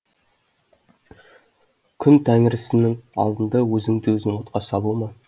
күн тәңірісінің алдында өзіңді өзің отқа салу ма